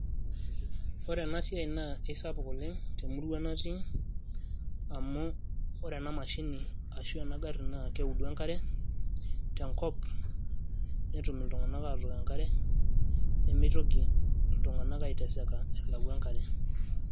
ore ena siai na isapuk oleng temurua natii amu ore ena mashini ashu ena garri naa keudu enkare tenkop netum iltung'anak aatok enkare nemeitoki iltung'anak aiteseka elau enkare.